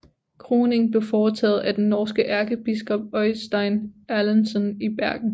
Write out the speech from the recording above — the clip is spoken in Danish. Kroningen blev foretaget af den norske ærkebiskop Øystein Erlendsson i Bergen